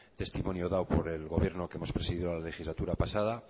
testimonio dado por el gobierno que hemos presidido la legislatura pasada